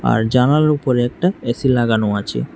আর জানালার উপরে একটা এ_সি লাগানো আচে।